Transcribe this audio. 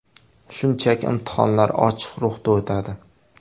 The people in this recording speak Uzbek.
Shunchaki imtihonlar ochiq ruhda o‘tadi.